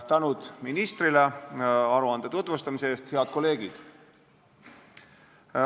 Tänu ministrile aruande tutvustamise eest!